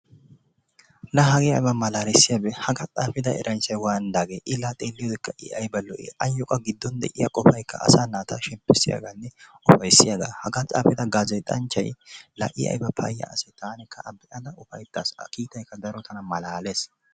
La hagee ayba malaalisiyaagee hagaa xaafida eranchchay waanidaage? ilaa xeelliyoodekka i ayba lo"ii? ayyoo giiddon de'iyaa qopaykka asaa naata shemmpissiyaaganne upayssiyaaga. Hagaa xaapida gazeexxanchay la i ayba payya asee? taanikka a be'ada keehi upaytaas. A kiittaykka daro tana malaalees.